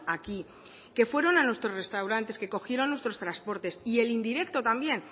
aquí que fueron a nuestros restaurantes que cogieron nuestros transportes y el indirecto también